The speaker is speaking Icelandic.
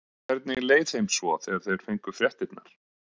Hvernig leið þeim svo þegar þeir fengu fréttirnar?